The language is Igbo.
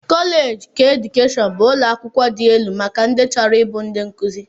Koleeji keedukeshọn bụ ụlọakwụkwọ dị elu maka ndị chọrọ ịbụ ndị nkụzi